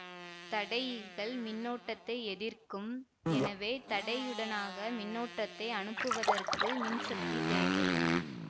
தடையிகள் மின்னோட்டத்தை எதிர்க்கும் எனவே தடையுடனாக மின்னோட்டத்தை அனுப்புவதற்கு மின்சக்தி தேவை